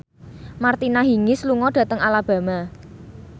Martina Hingis lunga dhateng Alabama